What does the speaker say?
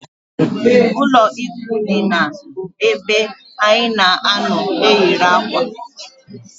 Ụlọ ikwụ ndina bu ebe anyị na anọ eyiri akwa